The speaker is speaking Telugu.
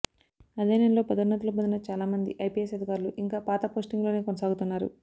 అదే నెలలో పదోన్నతులు పొందిన చాలామంది ఐపీఎస్ అధికారులు ఇంకా పాత పోస్టింగ్ల్లోనే కొనసాగుతున్నారు